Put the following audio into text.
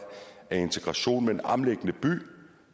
af integration med en omliggende by